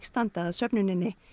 standa að söfnuninni